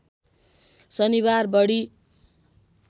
शनिबार बढी